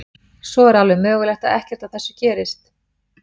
Svo er alveg mögulegt að ekkert af þessu gerist.